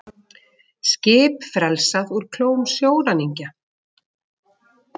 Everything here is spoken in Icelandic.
Skip frelsað úr klóm sjóræningja